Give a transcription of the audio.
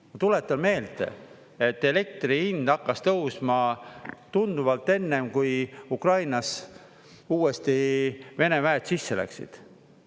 Ma tuletan meelde, et elektri hind hakkas tõusma tunduvalt enne, kui Ukrainas uuesti Vene väed sisse läksid.